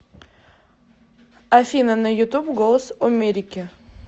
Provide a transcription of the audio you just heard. афина на ютуб голос омерики